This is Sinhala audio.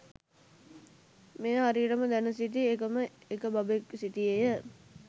මෙය හරියටම දැන සිටි එකම එක බබෙක් සිටියේය.